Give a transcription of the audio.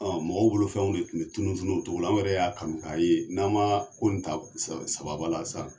mɔgɔ bolo fɛnw de tun bɛ tunu tunu o cogo la an yɛrɛ y'a kanu k'a ye n'an man ko in ta sababa la.